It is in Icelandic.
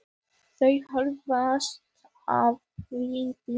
Þau jafnast á við tuttugu.